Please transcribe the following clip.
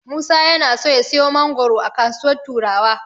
Musa yana so ya siyo mangoro a kasuwar Turawa.